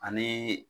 Ani